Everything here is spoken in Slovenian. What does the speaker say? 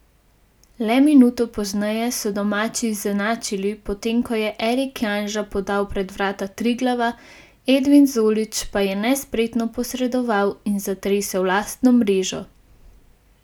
Le minuto pozneje so domači izenačili, potem ko je Erik Janža podal pred vrata Triglava, Edvin Zolić pa je nespretno posredoval in zatresel lastno mrežo.